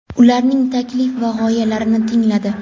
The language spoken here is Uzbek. ularning taklif va g‘oyalarini tingladi.